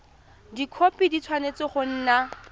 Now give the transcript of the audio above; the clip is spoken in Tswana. dikhopi di tshwanetse go nna